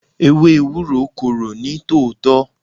Ewé Ewúro korò ní tòótọ́.